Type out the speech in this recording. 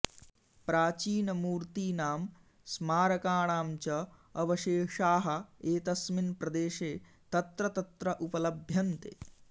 प्राचीनमूर्तीनां स्मारकाणां च अवशेषाः एतस्मिन् प्रदेशे तत्र तत्र उपलभ्यन्ते